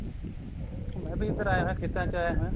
ਮੈਂ ਵੀ ਇੱਧਰ ਆਇਆ ਹੋਇਆ ਖੇਤਾਂ ਚ ਆਇਆ ਹੋਇਆ